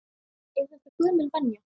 Er þetta gömul venja?